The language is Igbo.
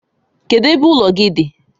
Kedụ ebe ụlọ gị dị?